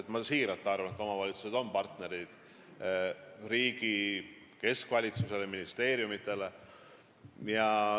Nimelt, ma siiralt arvan, et omavalitsused on riigi keskvalitsuse ja ministeeriumide partnerid.